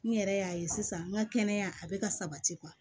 N yɛrɛ y'a ye sisan n ka kɛnɛya a bɛ ka sabati